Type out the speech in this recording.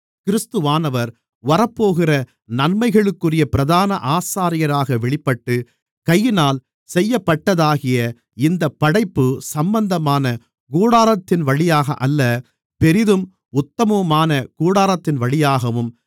கிறிஸ்துவானவர் வரப்போகிற நன்மைகளுக்குரிய பிரதான ஆசாரியராக வெளிப்பட்டு கையினால் செய்யப்பட்டதாகிய இந்தப் படைப்பு சம்பந்தமான கூடாரத்தின்வழியாக அல்ல பெரிதும் உத்தமுமான கூடாரத்தின்வழியாகவும்